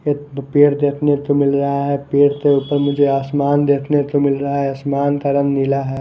एत तो पेड़ देखने तो मिल रहा है पेड़ के ऊपर मुझे आसमान देखने तो मिल रहा है आसमान का रंग नीला है।